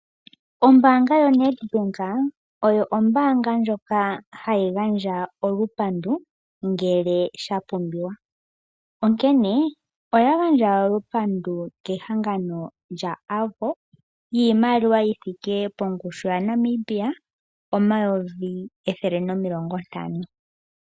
Ombaanga yaNedbank oyo ombaaanga ndjoka hayi gandja olupandu ngele shapumbiwa onkene oya gandja olupandu kehangano lyAvo yiimaliwa yithike pongushu yaNamibia N$150 000.00.